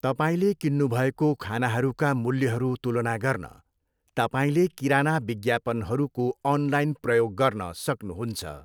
तपाईँले किन्नुभएको खानाहरूका मूल्यहरू तुलना गर्न तपाईँले किराना विज्ञापनहरूको अनलाइन प्रयोग गर्न सक्नुहुन्छ।